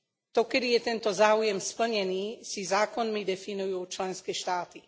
To, kedy je tento záujem splnený, si zákonmi definujú členské štáty.